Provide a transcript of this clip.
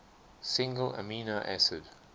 single amino acid